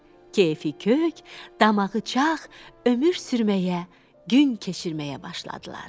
Keyfi kök, damağı çaq, ömür sürməyə, gün keçirməyə başladılar.